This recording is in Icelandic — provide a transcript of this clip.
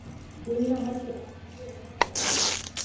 Gunna heldur á epli og horfir á það.